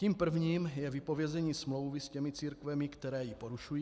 Tím prvním je vypovězení smlouvy s těmi církvemi, které ji porušují.